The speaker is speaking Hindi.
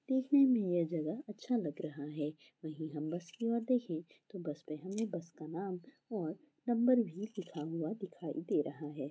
देखने में यह जगह अच्छा लग रहा है वहीं हम बस कि ओर देखे तो बस पे हमें बस का नाम और नम्बर भी लिखा हुआ दिखाई दे रहा है।